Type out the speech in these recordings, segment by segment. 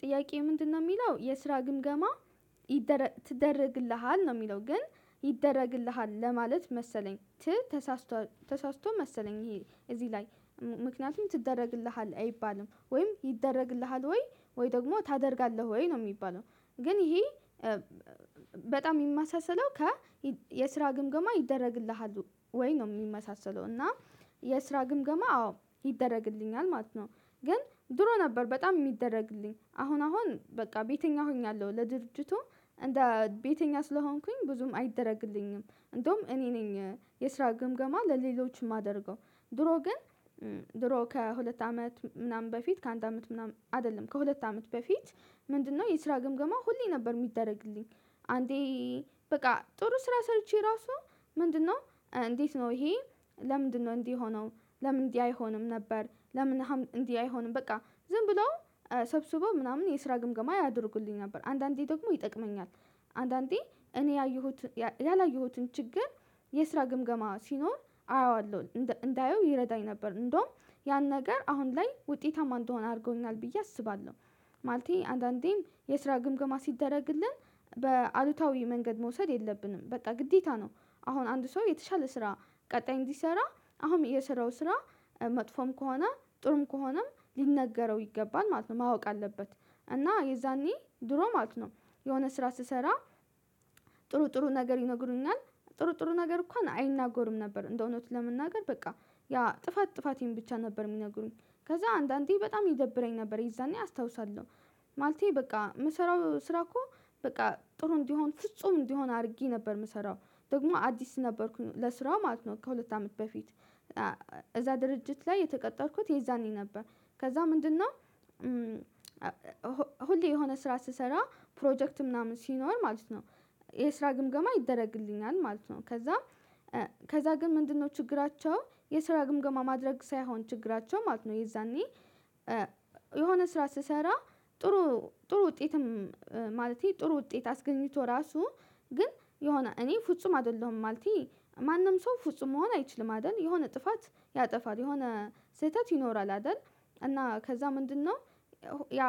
ጥያቄው ምንድነው የሚለው የስራ ግምገማ ይደረግ ትደረግልሃል? ነው የሚለው ግን ይደረግልሃል ለማለት መሰለኝ ግን ተሳስቷል ተሳስቶ መሰለኝ ይሄ እዚህ ላይ ምክንያቱም ትደረግልሃለህ አይባልም ወይም ይደረግልሃል? ወይ ወይ ደግሞ ታደርጋለህ ወይ ነው የሚባለው። ግን ይሄ በጣም የሚመሳሰለው ከ የስራ ግምገማ ይደረግልሃል ወይ ነው የሚመሳሰለው እና የስራ ግምገማ አዎ ይደረግልኛል ማለት ነው። ግን ድሮ ነበር በጣም እሚደረግልኝ አሁን አሁን በቃ ቤተኛ ሆኛለሁ ለድርጅቱ እንደ ቤተኛ ስለሆንኩኝ ብዙም አይደረግልኝም። እንደውም እኔ ነኝ የስራ ግምገማ ለሌሎች የማደርገው። ድሮ ግን ድሮ ከሁለት አመት ምናምን በፊት ከአንድ አመት ምናምን አይደለም ከሁለት አመት በፊት ምንድነው የስራ ግምገማ ሁሌ ነበር የሚደረግልኝ። አንዴ በቃ ጥሩ ስራ ሰርቼ ራሱ ምንድነው እንዴት ነው ይሄ ለምንድነው እንዲህ ሆነው ለምን እንዲህ አይሆንም ነበር? ለምን እንዲህ አይሆንም በቃ ዝም ብሎ ሰብስቦ ምናምን የስራ ግምገማ ያደርግልኝ ነበር። አንዳንዴ ደግሞ ይጠቅመኛል። አንዳንዴ እኔ ያየሁት ያላየሁትን ችግር የስራ ግምገማ ሲኖር አየዋለሁ እንዳየው ይረዳኝ ነበር። እንደውም ያን ነገር አሁን ላይ ውጤታማ እንደሆን አድርጎናል ብዬ አስባለሁ። ማለቴ አንዳንዴም የስራ ግምግማ ሲደረግልን በአሉታዊ መንገድ መውሰድ የለብንም በቃ ግዴታ ነው። አሁን አንድ ሰው የተሻለ ስራ ቀጣይ እንዲሰራ አሁን የስራው ስራ መጥፎም ከሆነ ጥሩም ከሆነም ሊነገረው ይገባል ማለት ነው። ማወቅ አለበት እና የዛኔ ድሮ ማለት ነው። የሆነ ስራ ስሰራ ጥሩ ጥሩ ነገር ይነግሩኛል። ጥሩ ጥሩ ነገር እንኳን አይናገርም ነበር። እንደው እውነቱን ለመናገር በቃ ያ ጥፋት ጥፋቴን ብቻ ነበር የሚነግሩኝ ከዛ አንዳንዴ በጣም ይደብረኝ ነበር የዛኔ አስታውሳለሁ። ማለቴ በቃ የምሰራው ስራ እኮ በቃ ጥሩ እንዲሆን ፍጹም እንዲሆን አድርጌ ነበር የምሰራው ደግሞ አዲስ ነበርኩኝ ለስራው ማለት ነው። ከሁለት አመት በፊት እዛ ድርጅት ላይ የተቀጠርኩት የዛኔ ነበር። ከዛ ምንድነው? ሁሌ የሆነ ስራ ስሰራ ፕሮጀክት ምናምን ሲኖር ማለት ነው። የስራ ግምገማ ይደረግልኛል ማለት ነው። ከዛ ከዛ ግን ምንድነው ችግራቸው የስራ ግምገማ ማድረግ ሳይሆን ችግራቸው ማለት ነው? የዛኔ የሆነ ስራ ስሰራ ጥሩ ጥሩ ውጤትም ማለቴ ጥሩ ውጤት አስገኝቶ ራሱ ግን የሆነ እኔ ፍጹም አይደለሁም። ማለቴ ማንም ሰው ፍጹም መሆን አይችልም አይደል? የሆነ ጥፋት ያጠፋል የሆነ ስህተት ይኖራል አይደል? እና ከዛ ምንድነው ያ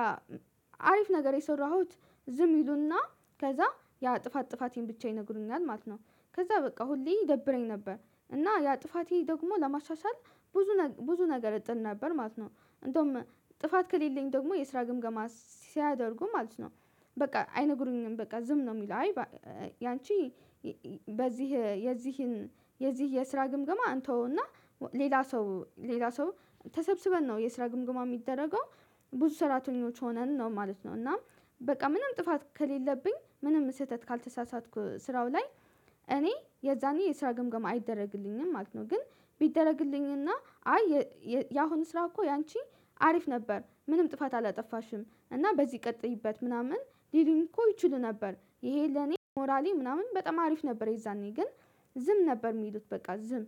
አሪፍ ነገር የሰራሁት ዝም ይሉና ከዛ ያ ጥፋት ጥፋቴን ብቻ ይነግሩኛል ማለት ነው። ከዛ በቃ ሁሌ ይደብረኝ ነበር። እና ያ ጥፋቴ ደግሞ ለማሻሻል ብዙ ብዙ ነገር እጥር ነበር ማለት ነው። እንደውም ጥፋት ከሌለኝ ደግሞ የስራ ግምገማ ሲያደርጉ ማለት ነው። በቃ አይነግሩኝም በቃ ዝም ነው የሚለው። አይ ያንቺ በዚህ የዚህን የዚህ የስራ ግምገማ እንተውና ሌላ ሰው ሌላ ሰው ተሰብስበን ነው የስራ ግምገማ የሚደረገው። ብዙ ሰራተኞች ሆነን ነው ማለት ነው እና በቃ ምንም ጥፋት ከሌለብኝ ምንም ስህተት ካልተሳሳትኩ ስራው ላይ እኔ የዛኔ የስራ ግምገማ አይደረግልኝም ማለት ነው። ግን ቢደረግልኝና አይ ያሁኑ ስራ እኮ ያንቺ አሪፍ ነበር ምንም ጥፋት አላጠፋሽም እና በዚህ ቀጥይበት ምናምን ቢሉኝ እኮ ይችሉ ነበር። ይሄ ለኔ ሞራሌ ምናምን በጣም አሪፍ ነበር። የዛኔ ግን ዝም ነበር የሚሉት በቃ ዝም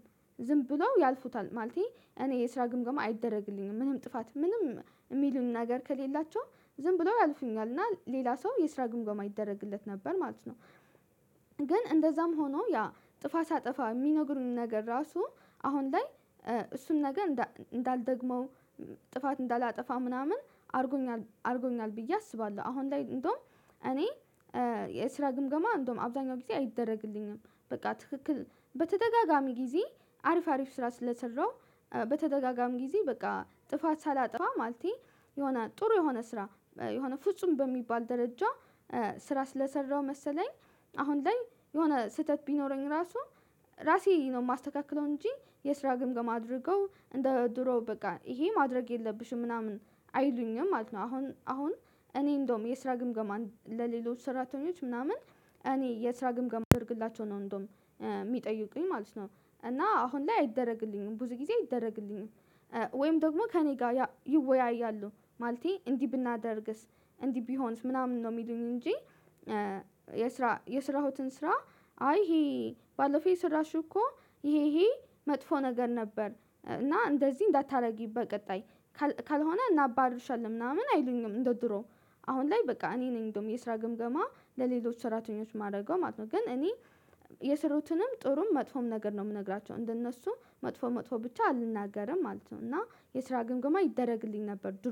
ዝም ብሎ ያልፉታል። ማለቴ እኔ የስራ ግምገማ አይደረግልኝም ምንም ጥፋት ምንም የሚሉን ነገር ከሌላቸው ዝም ብሎ ያልፉኛል እና ሌላ ሰው የስራ ግምገማ ይደረግለት ነበር ማለት ነው። ግን እንደዛም ሆኖ ያ ጥፋት አጥፋ የሚነግሩን ነገር ራሱ አሁን ላይ እሱን ነገ እንዳልደግመው ጥፋት እንዳላጠፋ ምናምን አድርጎኛል አድርጎኛል ብዬ አስባለሁ። አሁን ላይ እንደውም እኔ የስራ ግምገማ እንደውም አብዛኛው ጊዜ አይደረግልኝም። በቃ ትክክል በተደጋጋሚ ጊዜ አሪፍ አሪፍ ስራ ስለሰራው በተደጋጋሚ ጊዜ በቃ ጥፋት ሳላጠፋ ማለቴ የሆነ ጥሩ የሆነ ስራ የሆነ ፍጹም በሚባል ደረጃ ስራ ስለሰራው መሰለኝ። አሁን ላይ የሆነ ስህተት ቢኖረኝ ራሱ ራሴ ነው የማስተካክለው። እንጂ የስራ ግምግም አድርገው እንደ ድሮ በቃ ይሄ ማድረግ የለብሽም ምናምን አይሉኝም ማለት ነው። አሁን አሁን እኔ እንደውም የስራ ግምገማ ለሌሎች ሰራተኞች ምናምን እኔ የስራ ግምግም እንዳደርግላቸው ነው እንደውም የሚጠይቁኝ ማለት ነው። እና አሁን ላይ አይደረግልኝም ብዙ ጊዜ አይደረግልኝም። ወይም ደግሞ ከእኔ ጋር ይወያያሉ ማለቴ እንዲህ ብናደርግስ እንዲህ ቢሆንስ ምናምን ነው የሚሉኝ እንጂ። የስራ የስራሁትን ስራ አይ ይሄ ባለፈው የሰራሽው እኮ ይሄ ይሄ መጥፎ ነገር ነበር። እና እንደዚህ እንዳታደርጊ በቀጣይ ካልሆነ እናባርርሻለን ምናምን አይሉኝም። እንደ ድሮ አሁን ላይ በቃ እኔ ነኝ እንደውም የስራ ግምገማ ለሌሎች ሰራተኞች የማደርገው ማለት ነው። ግን እኔ የሰሩትንም ጥሩም መጥፎም ነገር ነው የምነግራቸው እንደነሱ መጥፎ መጥፎ ብቻ አልናገርም ማለት ነው። እና የስራ ግምግማ ይደረግልኝ ነበር ዱሮ